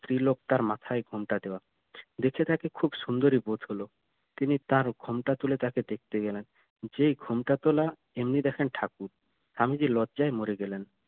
স্ত্রীলোক তার মাথায় ঘোমটা দেয়া দেখে তাকে খুব সুন্দরী বোধ হলো তিনি তার ঘোমটা তুলে তাকে দেখতে গেলেন যেই ঘোমটা তোলা এমনি দেখেন ঠাকুর স্বামীজি লজ্জায় মরে গেলেন